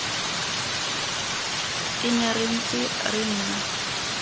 ene re ntse re nna